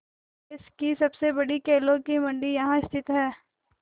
देश की सबसे बड़ी केलों की मंडी यहाँ स्थित है